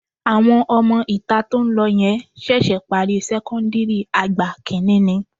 Àwọn ọmọ-ìta tó ń lọ yẹn ṣẹ̀ṣẹ̀ parí sẹ́kọ́ńdìrì àgbà kìíní ni